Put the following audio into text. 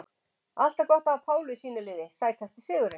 Alltaf gott að hafa Pálu í sínu liði Sætasti sigurinn?